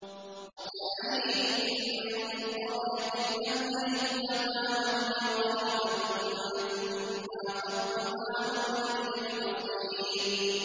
وَكَأَيِّن مِّن قَرْيَةٍ أَمْلَيْتُ لَهَا وَهِيَ ظَالِمَةٌ ثُمَّ أَخَذْتُهَا وَإِلَيَّ الْمَصِيرُ